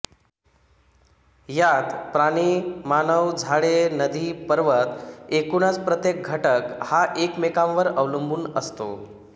यात प्राणीमानवझाडेनदीपर्वत एकूणच प्रत्येक घटक हा एकमेकांवर अवलंबून असतो